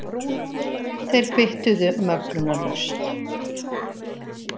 Þeir kvittuðu möglunarlaust.